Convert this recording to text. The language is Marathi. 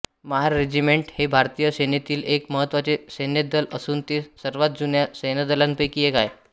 महार रेजिमेंट हे भारतीय सेनेतील एक महत्त्वाचे सैन्यदल असून हे सर्वात जुन्या सैन्यदलांपैकी एक आहे